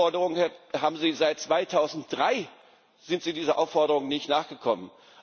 Die Aufforderung haben Sie seit 2003, seitdem sind Sie dieser Aufforderung nicht nachgekommen.